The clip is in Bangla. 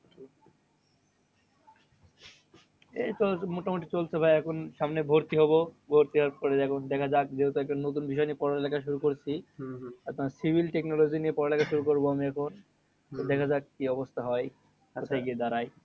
এইতো মোটামুটি চলছে ভাই এখন সামনে ভর্তি হবো। ভর্তি হওয়ার পর এখন দেখা যাক যেহেতু একটা নতুন বিষয় নিয়ে পড়ালেখা শুরু করেছি। আর তোমার civil technology নিয়ে পড়ালেখা শুরু করবো আমি এখন। তো দেখা যাক কি অবস্থা হয়? কাছে গিয়ে দাঁড়াই।